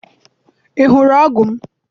I hụrụ ọgụ m?